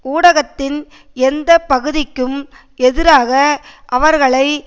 ஊடகத்தின் எந்த பகுதிக்கும் எதிராக அவர்களை